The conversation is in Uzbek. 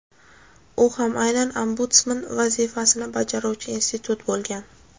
u ham aynan Ombudsman vazifasini bajaruvchi institut) bo‘lgan.